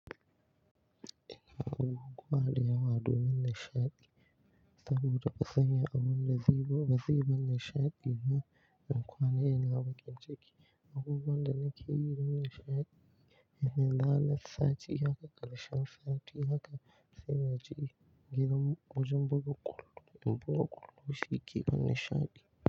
Ina abubuwa da yawa domin nishaɗi saboda fa sanya abun da zai buga zai bani nishaɗi. Ni bankwana ina bakin ciki. Abubuwan da nakeyi domin nishaɗi. Ina zana sati haka, ƙarshen sati haka sai na je gidan wajen buga ƙwallo. Bugan ƙwallo shi ke bani nishaɗi.